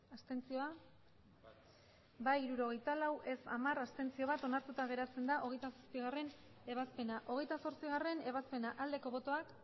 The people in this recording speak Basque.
abstenzioak emandako botoak hirurogeita hamabost bai hirurogeita lau ez hamar abstentzioak bat onartuta geratzen da hogeita zazpigarrena ebazpena hogeita zortzigarrena ebazpena aldeko botoak